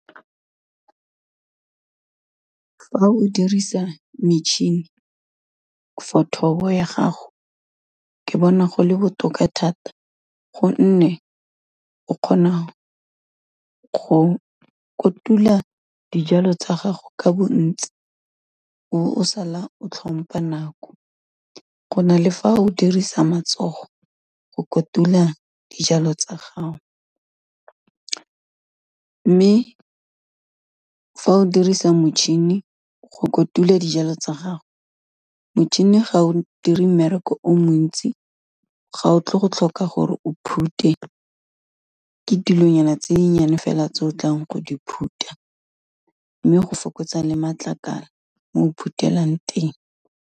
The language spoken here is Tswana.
Fa o dirisa metšhini for thobo ya gago, ke bona go le botoka thata gonne, o kgona go kotula dijalo tsa gago ka bontsi, o be o sala o tlhompa nako, go na le fa o dirisa matsogo go kotula dijalo tsa gago, mme fa o dirisa motšhini go kotula dijalo tsa gago, motšhini ga o dire mmereko o montsi ga o tle go tlhoka gore o phute, ke dilonyana tse nnyane fela tse o tlang go di phutha, mme go fokotsa le matlakala mo o phutelang teng.